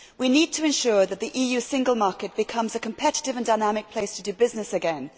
We need to ensure that the EU single market becomes a competitive and dynamic place to do business again.